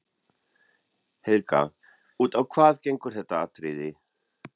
Helga: Út á hvað gengur þetta atriði?